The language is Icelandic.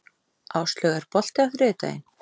Áslaug, er bolti á þriðjudaginn?